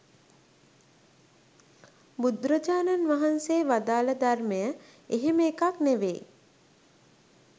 බුදුරජාණන් වහන්සේ වදාළ ධර්මය එහෙම එකක් නෙවෙයි.